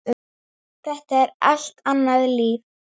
Lát þetta í þína pípu.